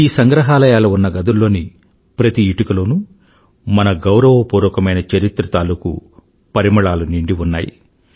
ఈ సంగ్రహాలయాలు ఉన్న గదుల్లోని ప్రతి ఇటుకలోనూ మన గౌరవపూర్వకమైన చరిత్ర తాలూకూ పరిమళాలు నిండి ఉన్నాయి